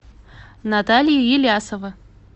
наталья елясова